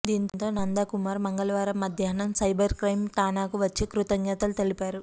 దీంతో నందకుమార్ మంగళవారం మధ్యాహ్నం సైబర్ క్రైమ్ ఠాణాకు వచ్చి కృతజ్ఞతలు తెలిపారు